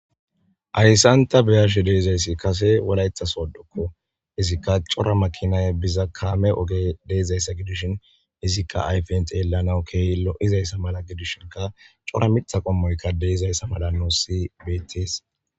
Haysan Ta bea'she dizaysika kase wolaita sodokko izika cora makinay biza kame oge bizaysa gidishin izika ayfen xelanaw kehi loi'ziyasa malavgidishin cora mitha qommoy dizaysi nus betes.